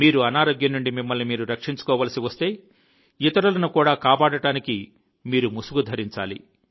మీరు అనారోగ్యం నుండి మిమ్మల్ని మీరు రక్షించుకోవలసి వస్తే ఇతరులను కూడా కాపాడటానికి మీరు ముసుగు ధరించాలి